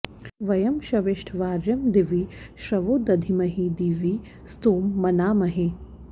व॒यं श॑विष्ठ॒ वार्यं॑ दि॒वि श्रवो॑ दधीमहि दि॒वि स्तोमं॑ मनामहे